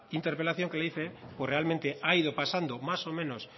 interpelación que le hice pues realmente ha ido pasando más o menos